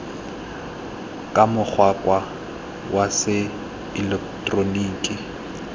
ka mokgwa wa se eleketeroniki